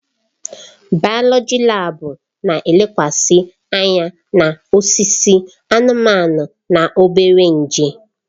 Bayoloji laabu na-elekwasị anya na osisi, anụmanụ na obere nje.